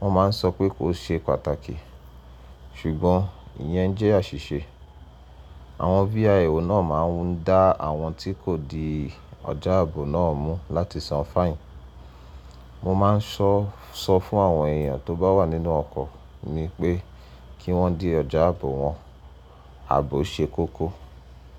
Wọ́n máa ń sọ pé kò ṣe pàtàkì. Ṣùgbọ́n ìyẹn jẹ́ àṣìṣe. Àwọn VIO náà máa ń dá àwọn tí kò di ọjà ààbò náà mú láti san fáìnì. Mo máa ń sọ fún àwọn èèyàn tó bá wà nínú ọkọ̀ mi pé kí wọ́n di ọjà ààbò wọn, ààbò ṣe kókó.